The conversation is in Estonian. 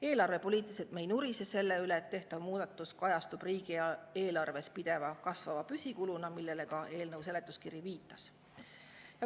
Eelarvepoliitiliselt me ei nurise selle üle, et tehtav muudatus kajastub riigieelarves pideva kasvava püsikuluna, millele ka eelnõu seletuskiri viitab.